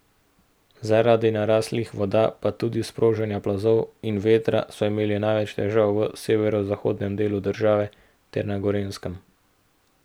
Zaradi naraslih voda, pa tudi sprožanja plazov in vetra so imeli največ težav v severozahodnem delu države ter na Gorenjskem.